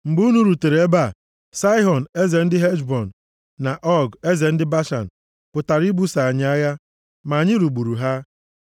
Mgbe unu rutere ebe a, Saịhọn, eze ndị Heshbọn, na Ọg, eze ndị Bashan, pụtara ibuso anyị agha, ma anyị lụgburu ha.